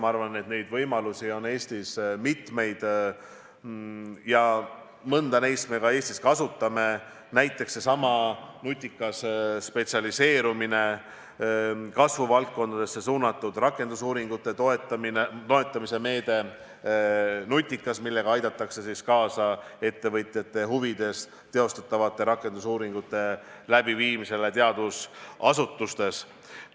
Ma arvan, et neid võimalusi on Eestis mitmeid ja mõnda neist me ka kasutame, näiteks seesama nutikas spetsialiseerumine, kasvuvaldkondadesse suunatud rakendusuuringute toetamise meede NUTIKAS, millega aidatakse kaasa ettevõtjate huvides tehtavatele rakendusuuringutele teadusasutustes.